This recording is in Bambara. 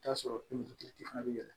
I bi t'a sɔrɔ fana bɛ yɛlɛ